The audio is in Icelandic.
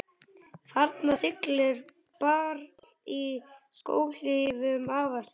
Þarna siglir barn í skóhlífum afa síns.